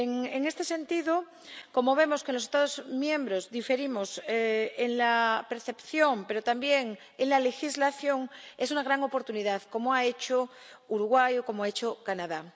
En este sentido, como vemos que los Estados miembros diferimos en la percepción, pero también en la legislación, es una gran oportunidad que hay que aprovechar, como ha hecho Uruguay o como ha hecho Canadá.